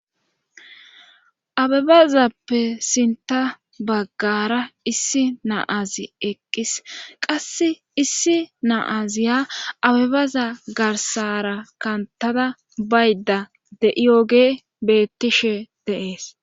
abebazappe sinta baggara issi naazi eqqis qasse issi naaziya abebaza garsara kantada bayda de7iyogee bettishe dees